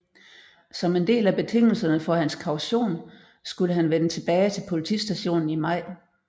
Som en del af betingelserne for hans kaution skulle han vende tilbage til politistationen i maj